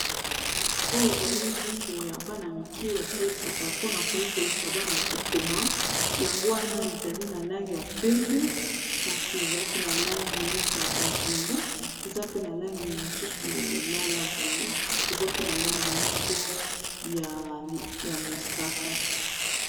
Oyo ezali buku ya bana-mike basalisaka mpona koyekolisa bana kokoma yango wana ezali na langi ya pembe kasi eza pe na langi neti ya bozinga eza pe na langi mosusu ya lilala boye eza pe na langi moko ya mosaka.